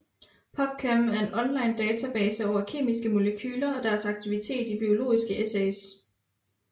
PubChem er en online database over kemiske molekyler og deres aktivitet i biologiske assays